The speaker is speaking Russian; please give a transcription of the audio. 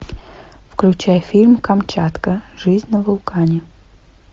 включай фильм камчатка жизнь на вулкане